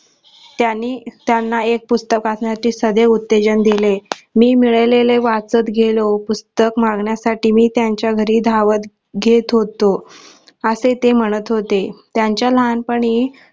त्यानी त्यांना एक पुस्तक वाचण्याचे सदैव उत्तेजन दिले मी मिळवलेले वाचत गेलो पुस्तक मागण्यासाठी मी त्यांचा घरी धावत घेत होतो असे ते म्हणत होते त्यांचा लहानपणी